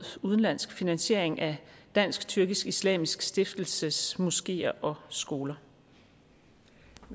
udenlandsk finansiering af dansk tyrkisk islamisk stiftelses moskeer og skoler